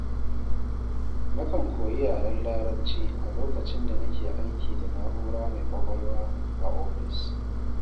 Na kan koyi yaren Larabci, a lokacin da nake aiki da na'ura mai ƙwaƙwalwa a ofis.